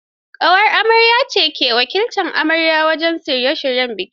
Ƙawar amarya ce me wakiltar amarya wajen shirye shiryen biki.